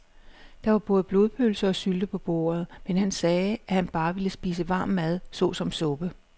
Der var både blodpølse og sylte på bordet, men han sagde, at han bare ville spise varm mad såsom suppe.